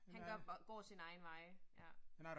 Han gør går sine egne veje ja